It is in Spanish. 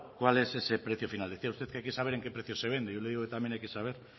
cuál es ese precio final decía usted que hay que saber en qué precio se vende yo le digo que también hay que saber